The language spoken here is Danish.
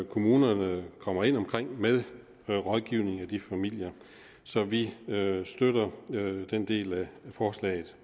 kommunerne kommer ind omkring med noget rådgivning af de familier så vi støtter den del af forslaget